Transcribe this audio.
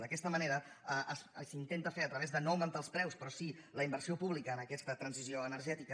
d’aquesta manera s’intenta fer a través de no augmentar els preus però sí la inversió pública en aquesta transició energètica